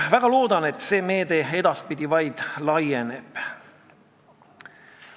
Väga loodan, et see meede edaspidi laieneb.